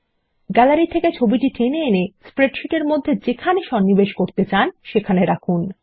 gallery থেকে টেনে এনে স্প্রেডশীট এর মধ্যে যেখানে সন্নিবেশ করতে চান সেখানে রাখুন